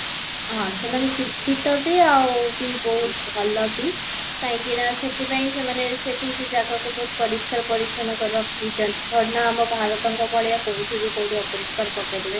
ହଁ, ସେମାନେ ଶିକ୍ଷିତ ବି ଆଉ ବି ବହୁତ ଭଲ ବି କାହିଁକି ନା ସେଥି ପାଇଁ ସେମାନେ ସେଠି ସେ ଜାଗା କୁ ବହୁତ ପରିଷ୍କାର ପରିଛନ୍ନ କରି ରଖିଛନ୍ତି ନା ଆମ ଭାରତଙ୍କ ଭଳିଆ କୋଉଠି ବି କୋଉଠି ବି ଅପରିଷ୍କାର ପକେଇ ଦେବେ